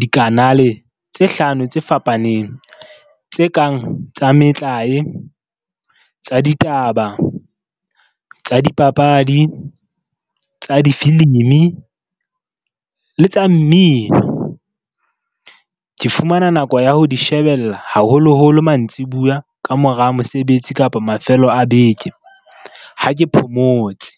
dikanale tse hlano tse fapaneng. Tse kang tsa metlae, tsa ditaba, tsa dipapadi, tsa difilimi le tsa mmino. Ke fumana nako ya ho di shebella haholoholo mantsibuya ka mora mosebetsi kapa mafelo a beke ha ke phomotse.